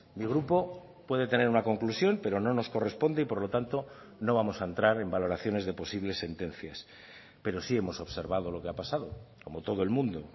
mi grupo puede tener una conclusión pero no nos corresponde y por lo tanto no vamos a entrar en valoraciones de posibles sentencias pero sí hemos observado lo que ha pasado como todo el mundo